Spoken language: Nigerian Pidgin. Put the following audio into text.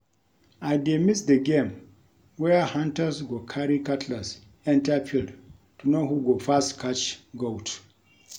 I dey miss the game where hunters go carry cutlass enter field to know who go first catch goat